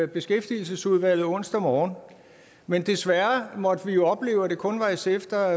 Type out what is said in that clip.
beskæftigelsesudvalget onsdag morgen men desværre måtte vi opleve at det kun var sf der